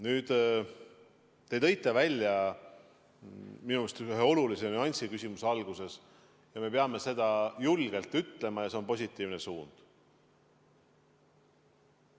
Nüüd, te tõite küsimuse alguses välja minu arust ühe olulise nüansi ja me peame seda julgelt ütlema – see on positiivne suund.